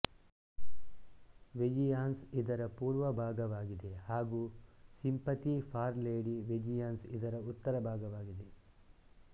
vengeance ಇದರ ಪೂರ್ವಭಾಗವಾಗಿದೆ ಹಾಗೂ ಸಿಂಪತಿ ಫಾರ್ ಲೇಡಿ ವೆಜಿಯಾನ್ಸ್ ಇದರ ಉತ್ತರಭಾಗವಾಗಿದೆ